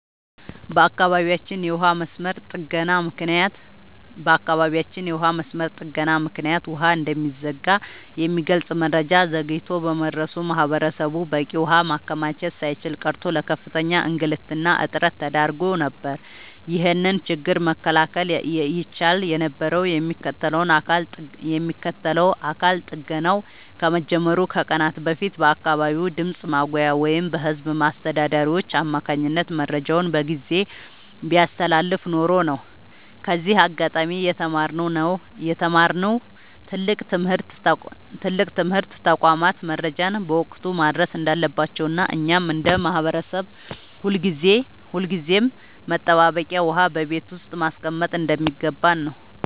በአካባቢያችን የውሃ መስመር ጥገና ምክንያት ውሃ እንደሚዘጋ የሚገልጽ መረጃ ዘግይቶ በመድረሱ ማህበረሰቡ በቂ ውሃ ማከማቸት ሳይችል ቀርቶ ለከፍተኛ እንግልትና እጥረት ተዳርጎ ነበር። ይህንን ችግር መከላከል ይቻል የነበረው የሚመለከተው አካል ጥገናው ከመጀመሩ ከቀናት በፊት በአካባቢው ድምፅ ማጉያ ወይም በህዝብ አስተዳዳሪዎች አማካኝነት መረጃውን በጊዜ ቢያስተላልፍ ኖሮ ነው። ከዚህ አጋጣሚ የተማርነው ትልቅ ትምህርት ተቋማት መረጃን በወቅቱ ማድረስ እንዳለባቸውና እኛም እንደ ማህበረሰብ ሁልጊዜም መጠባበቂያ ውሃ በቤት ውስጥ ማስቀመጥ እንደሚገባን ነው።